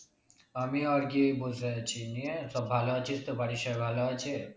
আমিও আরকি বসে আছি নিয়ে সব ভালো আছিস তো? বাড়ির সবাই ভালো আছে?